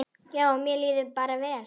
Já, mér líður bara vel.